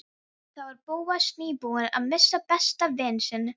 Þá var Bóas nýbúinn að missa besta vin sinn.